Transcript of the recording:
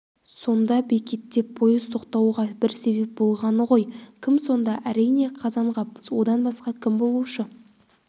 сонда бекетте пойыз тоқтатуға біреу себеп болғаны ғой кім сонда әрине қазанғап одан басқа кім болушы